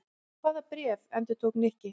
Hvaða bréf? endurtók Nikki.